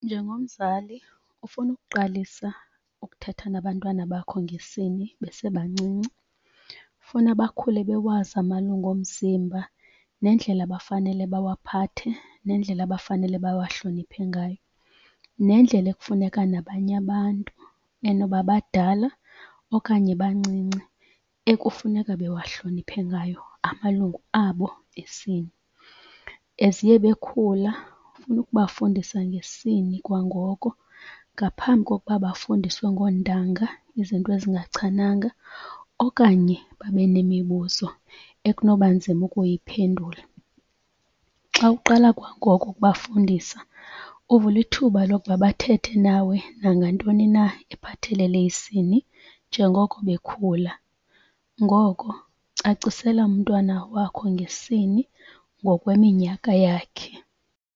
Njengomzali ofuna ukuqalisa ukuthetha nabantwana bakho ngesini besebancinci funa bakhule bewazi amalungu omzimba nendlela abafanele bawaphathe nendlela abafanele bawahloniphe ngayo. Nendlela ekufuneka nabanye abantu enoba badala okanye bancinci ekufuneka bewahloniphe ngayo amalungu abo esini. As iye bekhula ufuna ukubafundisa ngesini kwangoko ngaphambi kokuba bafundiswe ngoontanga izinto ezingachananga okanye babe nemibuzo ekunoba nzima ukuyiphendula. Xa uqala kwangoko ukubafundisa, uvula ithuba lokuba bathethe nawe nangantoni na ephathelele isini njengoko bekhula. Ngoko cacisela umntwana wakho ngesini ngokweminyaka yakhe.